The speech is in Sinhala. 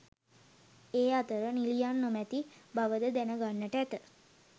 ඒ අතර නිළියන් නොමැති බවද දැන ගන්නට ඇත.